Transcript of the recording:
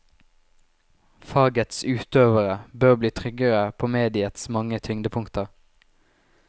Fagets utøvere bør bli tryggere på mediets mange tyngdepunkter.